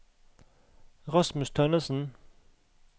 Rasmus Tønnesen